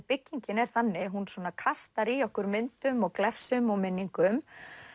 byggingin er þannig að hún kastar í okkur myndum glefsum og minningum